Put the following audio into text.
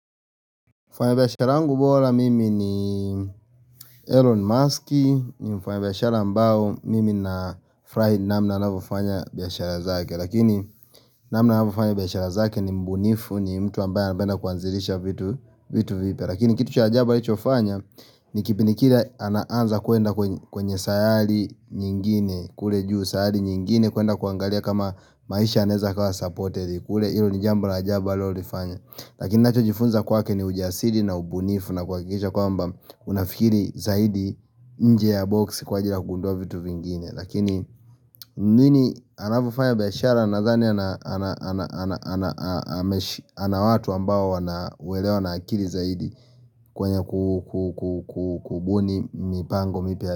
Mfanyabiashara wangu bora mimi ni Elon Maski, nimfanyabiashara ambao mimi nafurahi namna anavyofanya biashara zake, lakini namna anavyofanya biashara zake ni mbunifu ni mtu ambaye anapenda kuanzilisha vitu vipya lakini kitu cha ajabu alichofanya, ni kipindi kile anaanza kuenda kwenye sayali nyingine, kule juu sayali nyingine, kuenda kuangalia kama maisha yanaeza kawa supported kule ilo ni jambo la ajabu aliolifanya lakini ninachojifunza kwake ni ujasiri na ubunifu na kuhakikisha kwamba, unafikiri zaidi nje ya boxi kwa ajili ya kugunduwa vitu vingine, lakini nini anavyofanya biasharaza nadhani ana watu ambao wanaelewana akili zaidi kwenye kubuni mipango mipya.